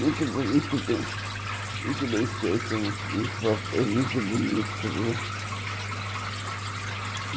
Muito bom muito bem muito bem feito, uns uns portões muito bonitos, viu?